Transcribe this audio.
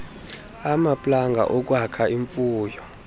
amaplanga okwakha imfuyo